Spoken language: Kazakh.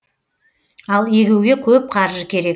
ал егуге көп қаржы керек